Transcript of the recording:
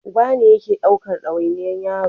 Uba ne yake ɗaukan dawainiyar yaro